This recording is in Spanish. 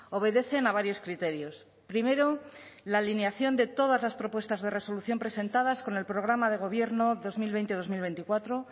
obedecen a varios criterios primero la alineación de todas las propuestas de resolución presentadas con el programa de gobierno dos mil veinte dos mil veinticuatro